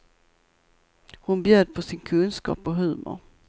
Hon bjöd på sin kunskap och humor.